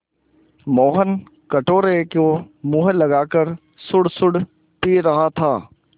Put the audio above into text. मोहन कटोरे को मुँह लगाकर सुड़सुड़ पी रहा था